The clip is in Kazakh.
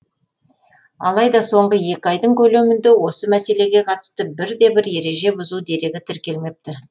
алайда соңғы екі айдың көлемінде осы мәселеге қатысты бірде бір ереже бұзу дерегі тіркелмепті